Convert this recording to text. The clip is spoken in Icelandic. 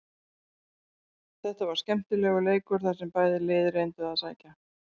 Þetta var skemmtilegur leikur þar sem bæði lið reyndu að sækja.